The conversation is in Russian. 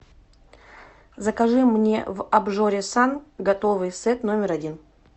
закажи мне в обжоре сан готовый сет номер один